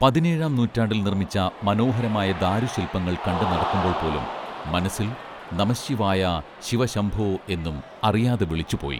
പതിനേഴാംനൂറ്റാണ്ടിൽ നിർമ്മിച്ച മനോഹരമായ ദാരുശിൽപ്പങ്ങൾ കണ്ട് നടക്കുമ്പോൾപ്പോലും മനസ്സിൽ നമഃശ്ശിവായ ശിവശംഭോ എന്നും അറിയാതെ വിളിച്ചുപോയി